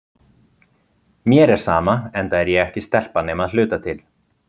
Mér er sama, enda er ég ekki stelpa nema að hluta til.